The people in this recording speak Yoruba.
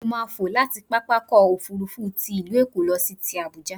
Mo máà fò láti pápákọ̀-òfurufú ti ìlú Èkó lọ sí ti Àbuja.